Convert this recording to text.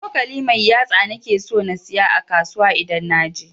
cokali mai yatsa nake so na siyo a kasuwa idan naje.